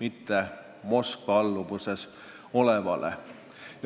mitte Moskva alluvuses olevale.